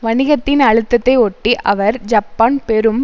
வணிகத்தின் அழுத்தத்தை ஒட்டி அவர் ஜப்பான் பெரும்